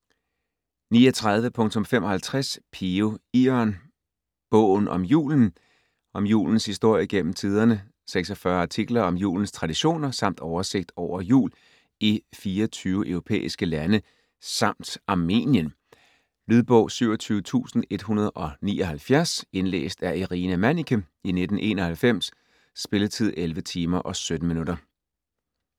39.55 Piø, Iørn: Bogen om julen Om julens historie gennem tiderne, 46 artikler om julens traditioner samt oversigt over jul i 24 europæiske lande samt Armenien. Lydbog 27179 Indlæst af Irina Manniche, 1991. Spilletid: 11 timer, 17 minutter.